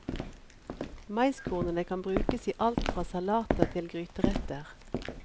Maiskornene kan brukes i alt fra salater til gryteretter.